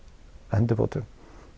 endurbótum